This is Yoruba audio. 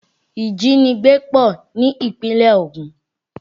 Ìjínigbé pọ̀ ní ìpínlẹ̀ Ògùn